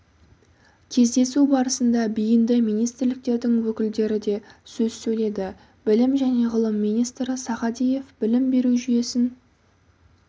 кездесу барысында бейінді министрліктердің өкілдері де сөз сөйледі білім және ғылым министрі сағадиев білім беру жүйесін